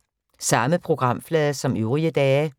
Samme programflade som øvrige dage